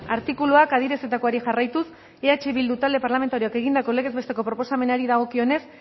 artikuluak adierazitakoari jarraituz eh bildu talde parlamentarioak egindako legez besteko proposamenari dagokionez